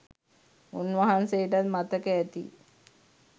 උන්වහන්සේටත් මතක ඇති..